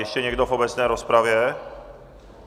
Ještě někdo v obecné rozpravě?